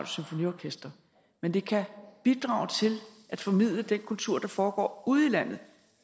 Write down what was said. symfoniorkester men det kan bidrage til at formidle den kultur der foregår ude i landet